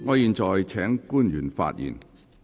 我現在請官員發言。